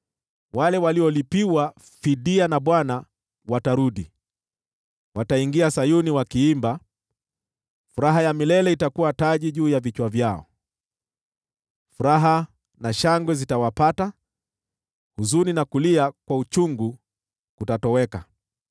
Wale waliolipiwa fidia na Bwana watarudi. Wataingia Sayuni wakiimba; furaha ya milele itakuwa taji juu ya vichwa vyao. Furaha na shangwe zitawapata, huzuni na kulia kwa uchungu kutatoweka.